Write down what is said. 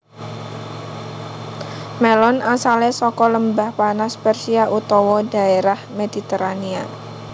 Mélon asalé saka Lembah Panas Persia utawa dhaérah Mediterania